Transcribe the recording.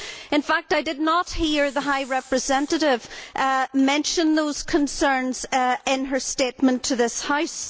In fact, I did not hear the High Representative mention those concerns in her statement to this House.